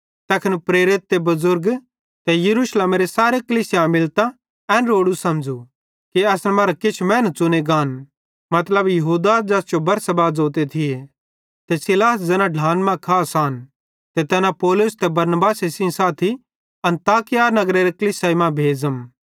तैखन प्रेरित ते बुज़ुर्ग ते सारी यरूशलेमेरे सारे कलीसिया मिलतां एन रोड़ू समझ़ू कि असन मरां किछ मैनू च़ुने गान मतलब यहूदा ज़ैस जो बरसब्बास ज़ोतन ते सीलास ज़ैना ढ्लान मां खास आन ते तैन पौलुस ते बरनबासे सेइं साथी अन्ताकिया नगरेरे कलीसियाई मां भेज़म